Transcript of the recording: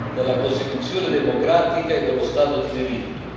della Costituzione democratica e dello Stato di diritto.